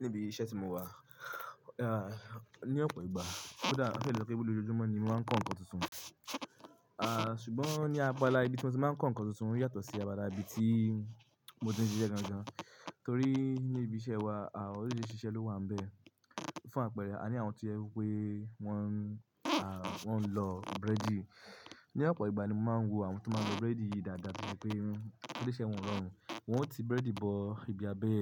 Níbi iṣẹ́ tí mo wà, ah, ní ọ̀pọ̀ ìgbà ó dà, ó ṣe ọ́ pé gbogbo lójoojúmọ́ ni mo máa ń kọ́ ǹkan tuntun. Ah, ṣùgbọ́n ní abala ibi tí mo ti máa ń kọ́ ǹkan tuntun yàtọ̀ sí apala ibi tí mo ti ń ṣiṣẹ́ lọ́jọ́ọ́jọ́mọ́, torí ní ibi iṣẹ́ wa, ah, oríṣiríṣi iṣẹ́ ló wà níbẹ̀. Fún àpẹẹrẹ, a ní àwọn tí ó jẹ wípé wọn, wọn ń lọ búrẹ́dì. Ni ọ̀pọ̀ ìgbà ni mo máa ń wo àwọn tó máa ń lọ búrẹ́dì yìí dáadáa torí pé ilé iṣẹ́ wọ́n rọrùn. Wọn ó ti búrẹ́dì bọ ibi abẹ́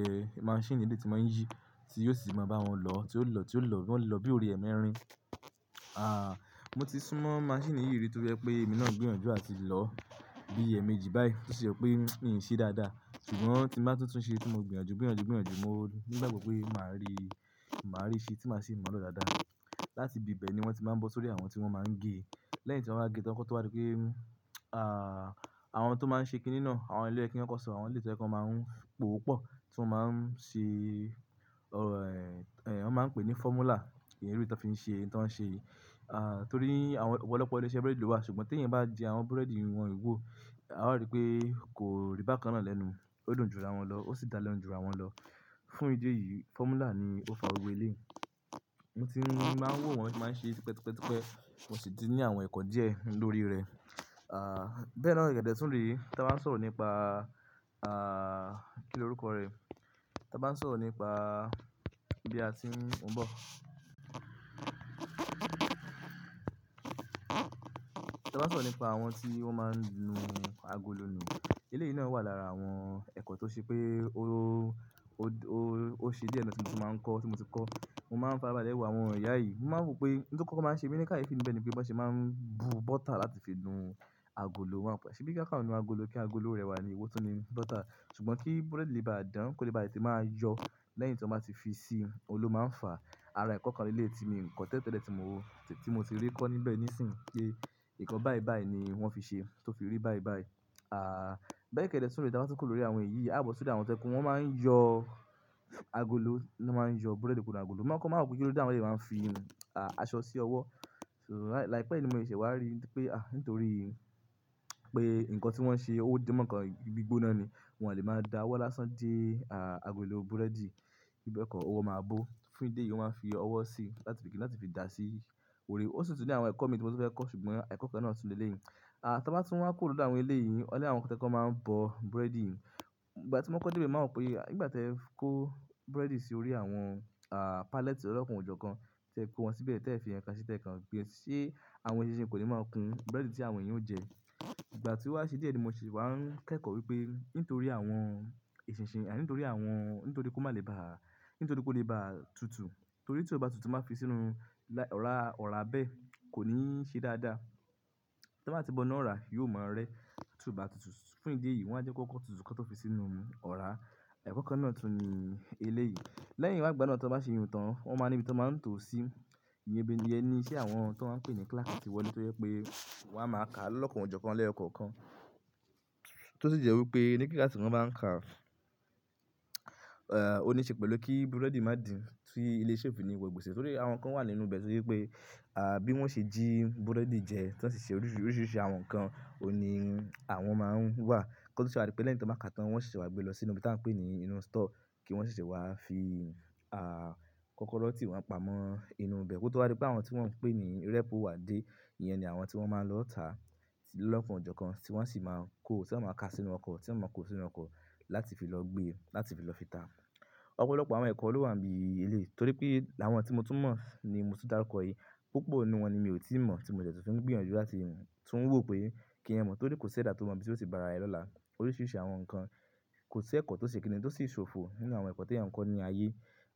maṣíìnì eléyìí tí ń máa ń yí, tí yóò sì máa bá wọn lọ, tí ó lọ, tí ó lọ, wọ́n lè lọ bí oore ẹ mẹ́rin. Mo ti súnmọ́ maṣíìnì yìí rí to jẹ pé èmi náà ń gbìyànjú àti lọ bí ẹ̀ẹ̀mejì báyìí tó ṣe ọ́ pé míì ń ṣe dáadáa. Ṣùgbọ́n tí mo bá tutùn ṣe tí mo gbìyànjú, gbìyànjú, gbìyànjú, mo nígbàgbọ́ pé màá rí, màá rí i ṣe tí màá sì mọ̀ ọ́ ló dáadáa. Láti ibi bẹ́ẹ̀ ni wọ́n ti máa ń bọ sórí àwọn tí wọ́n máa ń gé. Lẹ́yìn tí wọ́n bá gé tán kó tó bá dí pé, àwọn tó máa ń ṣe kíni náà, àwọn ìyẹn ló yẹ kí kọ́kọ́ sọ, àwọn èléyìí tó jẹ́ pé wọ́n máa ń pòopọ̀ tí wọ́n máa ń ṣe, wọ́n máa ń pè ní formula, ìrírí tó fi ń ṣe, nǹkan tí wọ́n ṣe. Torí àwọn ọ̀pọ̀lọpọ̀ ilé iṣẹ́ búrẹ́dì ló wà, ṣùgbọ́n tí ẹ̀yin bá jẹ àwọn búrẹ́dì wọn yí wo, a ó rí pé kò rí bákan náà lẹ́nu. Ó dùn jura wọn lọ, ó sì dára jura wọn lọ. Fún ìdí èyí, formula ni ó fa gbogbo èléyìí. Mo ti máa ń wò wọ́n tí wọ́n máa ń ṣe tipẹ́tipẹ́tipẹ́. Mo sì ti ní àwọn ẹ̀kọ́ díẹ̀ lórí rẹ̀. Ah, bẹ́ẹ̀ náà kẹ̀dẹ́ tún re tí a bá ń sọ̀rọ̀ nípa, kí ni orúkọ rẹ̀? Tí a bá ń sọ̀rọ̀ nípa ibi tí a ti ń, mo ń bọ̀. Tí a bá ń sọ̀rọ̀ nípa àwọn tí wọ́n máa ń nu agolo nu. Ilé yìí náà wà lára àwọn ẹ̀kọ́ tó ṣe pé, ó ṣe díẹ̀ ẹni tí mo ti máa ń kọ́, tí mo ti kọ́. Mo máa ń farabalẹ̀ wo àwọn ìyá yìí. Mo máa ń wò pé ohun tí ó kọ́kọ́ máa ń ṣe mi ní kààyèfi ni bẹ́ẹ̀ ni pé bí wọn ṣe máa ń bu bọ́tà láti fi nu agolo. Wọn pẹ́, ṣébí kí wọn kan nu agolo kí agolo rẹwà ní èwó tu ní bọ́tà. Ṣùgbọ́n kí búrẹ́dì lè bá a dán, kó lè bá tètè máa yọ lẹ́yìn tí wọ́n bá ti fi sí i, ohun lọ máa ń fà. Àrà ẹ̀kọ́ kan ní ilé tí mi nǹkan tẹ́lẹ́ tẹ́lẹ́ tí mo ò, tí mo ti rí kọ́ níbẹ̀ nísìnyí pé ǹkan báì báì ni wọ́n fi ṣe tó fi rí báì báì. Bẹ́ẹ̀ kẹ̀dẹ́ tún re tí a bá ti kúrò lórí àwọn èyí, a bọ̀ sí ọ̀dọ́ àwọn tó jẹ́ pe. Wọ́n máa ń yọ agolo, ní wọ́n máa ń yọ búrẹ́dì kúrò nínú agolo. Mo má ń kọ́kọ́, mà n wò pé kí lóde táwọn èléyìí má ń fi aṣọ sì ọwọ́ so àìpé yí ni mo ṣẹ̀ṣẹ̀ wà ri pé, nítorí pé ǹkan tí wọ́n ṣe ó di mọ̀ nkàn gbígbóná ni. Wọn á lè máa da ọwọ́ lásán dé, agolo búrẹ́dì bí bẹ́ẹ̀ kọ́, owọ́ máa bó. Fún ìdí èyí, wọ́n máa ń fi ọwọ́ sí i láti fi kí láti fi da sí i. Oore, ó sì tún ní àwọn ẹ̀kọ́ mi tí mo tún fẹ́ kọ̀, ṣùgbọ́n ẹ̀kọ́ kan náà tún ní èléyìí ah, tí a bá tún wá kúrò lọ́dọ̀ àwọn èléyìí, ó ní àwọn kan tó to jẹ pe, wọ́n máa ń bọ búrẹ́dì. Ìgbà tí mo kọ́kọ́ de bẹ, mo wáa wò pé ìgbà tí ẹ kó búrẹ́dì sí orí àwọn, pallet lọlọ́kàn ọ̀jọ̀ọ̀kán, tí ẹ kó wọn síbẹ̀ tí ẹ fi ǹkan sí i tí ẹ kàn gbé, ṣé àwọn eṣinṣin kò ní máa kun búrẹ́dì tí àwọn éyan ó jẹ. Ìgbà tí ó wá sí díẹ̀ ni mo se wà ń kẹ́kọ̀ọ́ wípé nítorí àwọn eṣinṣin, àní nítorí àwọn, nítorí kó má lè bá, nítorí kó lè bá tutù. Torí tí ó bá tutù tí wọ́n bá fi sínú, lá, ọ̀rá, ọ̀rá bẹ́ẹ̀ kò ní ṣe dáadáa. Tí wọ́n bá ti bọ́ iná ọ̀rá, yóò máa rẹ́ tún bá tutù. Fún ìdí èyí, wọn á jẹ́ kó kọ́kọ́ tutù kan tó fi sínú ọ̀rá. Ẹ̀kọ́ kan náà tún ní ilé yìí. Lẹ́yìn wàá gbáná tí wọ́n bá ṣe iyùn tán, wọ́n máa ní ibi tí wọ́n máa ń tò ó sí. Iye ẹni, iṣẹ́ àwọn tó wọ́n ń pè ní clerk ti wọlé tọ jẹ pé wọn a máa kà lọlọ́kàn ọ̀jọ̀ọ̀kan lẹ́yọkọ̀ọ̀kan. Tó sì jẹ́ wípé ní kíláàsì tí wọ́n bá ń kà, ó ní í ṣe pẹ̀lú kí búrẹ́dì má dì sí ilé iṣẹ́ ó fi ní wọ ògbèsè. Torí àwọn kan wà nínú bẹ́ẹ̀ torí pé, bí wọ́n ṣe jí búrẹ́dì jẹ tí wọ́n sì ṣe oríṣiríṣi àwọn ǹkan, ó ní àwọn máa ń wà. Kọ́ ni tí wọn rí pé lẹ́yìn tí wọ́n kà tán, wọ́n ṣẹ̀ṣẹ̀ wá gbé lọ sínú ibi tí à ń pè ní inú store kí wọ́n ṣẹ̀ṣẹ̀ wá fi, kọ̀kọ̀rọ̀ tí wọn pamọ́ inú ibẹ̀ kó tó bá rí pé àwọn tí wọ́n ń pè ní repu wà dé, ìyẹn ni àwọn tí wọ́n máa ń lọ tà lọlọ́kàn ọ̀jọ̀ọ̀kan tí wọ́n sì máa kó, tí wọ́n máa kà sínú ọkọ̀, tí wọ́n máa kó sínú ọkọ̀ láti fi lọ gbé, láti fi lọ fi tà. Ọ̀pọ̀lọpọ̀ àwọn ẹ̀kọ́ ló wà níbi ilé torí pé láwọn tí mo tún mọ̀ ni mo ti dárúkọ yìí, púpọ̀ nínú wọn ni mi ò tíì mọ̀ tí mo dẹ̀ tún fẹ ń gbìyànjú láti wùú, tún wò pé kí ń mọ̀ torí kò ṣe dára tó mọ̀ bí ó ṣe bá ara ẹ lọ́la. Oríṣiríṣi àwọn ǹkan, kò sí ẹ̀kọ́ tó ṣe kíni tó sì ṣòfò nínú àwọn ẹ̀kọ́ tí ẹ̀yin ń kọ́ ní ayé.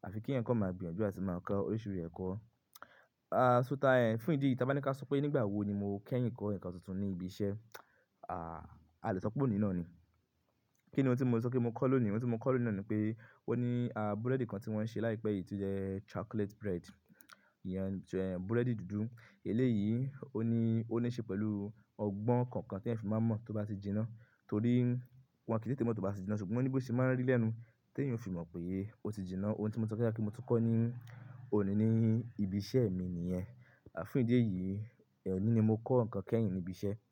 À fi kí ẹ̀yin kọ́ máa gbìyànjú àti máa kọ́ oríṣiríṣi ẹ̀kọ́. Ṣó ta ẹ, fún ìdí yìí tí a bá ní kí a sọ pé nígbà wo ni mo kẹ́yìn kọ́ ǹkan tuntun ní ibi iṣẹ́, a lè sọ pé òní náà ni. Kí ni ohun tí mo ti sọ kí mo kọ́ lónìí? Ohun tí mo kọ́ lónìí náà ni pé ó ní, búrẹ́dì kan tí wọ́n ṣe láìpẹ́ yìí tí ó jẹ́ chocolate bread, ìyẹn búrẹ́dì dúdú, èléyìí ó níí ṣe pẹ̀lú ọgbọ̀n kànkan tí èyàn fi má ń mọ tí ó bá ti jìnà, torí wọn kii tètè mọ tí ó bá ti jìnà, ṣùgbọ́n óní bo ṣé má ń rí lẹ́nu, tí èyàn ó fi mọ pe o ti jìnà, nkan ti mo lè sọ wípé mo tún kọ ní ibi iṣẹ́ mi nìyẹn. Fún ìdí èyí, òní ni mo kọ́ nkan kẹ́yìn ni ibi iṣẹ́